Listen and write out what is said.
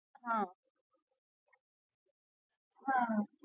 હમ હમ